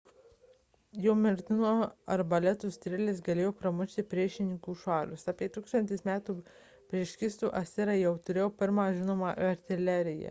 jų mirtinų arbaletų strėlės galėjo pramušti priešininkų šarvus apie 1 000 metų prieš kristų asirai jau turėjo pirmąją žinomą artileriją